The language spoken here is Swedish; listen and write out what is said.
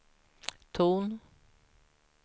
ton